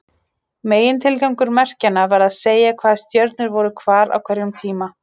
Megintilgangur merkjanna var að segja hvaða stjörnur voru hvar á hverjum tíma.